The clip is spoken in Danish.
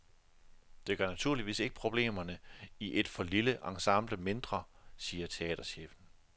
Det gør naturligvis ikke problemerne i et for lille ensemble mindre, siger teaterchefen.